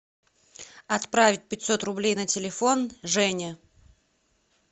отправить пятьсот рублей на телефон жене